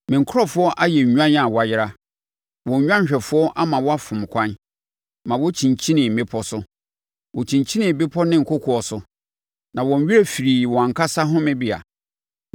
“Me nkurɔfoɔ ayɛ nnwan a wɔayera; wɔn nnwanhwɛfoɔ ama wɔafom ɛkwan ma wɔkyinkyinii mmepɔ so. Wɔkyinkyinii bɛpɔ ne kokoɔ so na wɔn werɛ firii wɔn ankasa homebea.